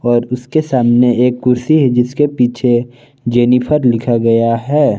और उसके सामने एक कुर्सी है जिसके पीछे जेनिफर लिखा गया है।